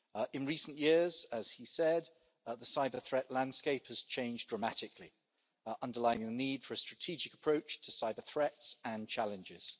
In recent years, as he said, the cyber-threat landscape has changed dramatically, underlining the need for a strategic approach to cyber-threats and challenges.